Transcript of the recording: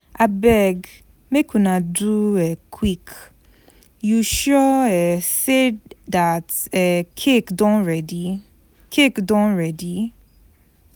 Abeg make una do um quick, you sure um say dat um cake don ready cake done ready?